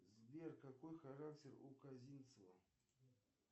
сбер какой характер у казинцева